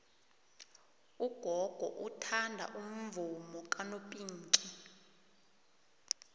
ugogo uthanda umvumo kanopinki